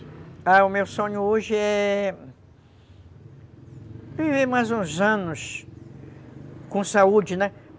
Ah, o meu sonho hoje é... viver mais uns anos com saúde, né?